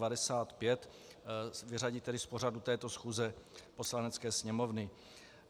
Vyřadit tedy z pořadu této schůze Poslanecké sněmovny.